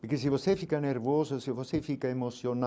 Porque se você fica nervoso, se você fica emocional,